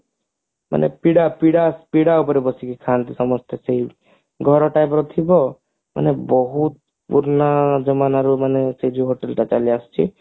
ମାନେ ପିଡା ପିଡା ଉପରେ ବସିକି ଖାଆନ୍ତି ସମସ୍ତେ ସେଇ ଘର type ର ଥିବ ମାନେ ବହୁତ ପୁରୁଣା ଜମାନାରୁ ମାନେ ସେ ଯୋଉ hotel ଟା ଚାଲିଆସିଛି